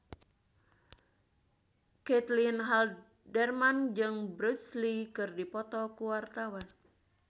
Caitlin Halderman jeung Bruce Lee keur dipoto ku wartawan